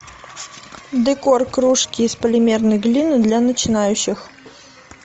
декор кружки из полимерной глины для начинающих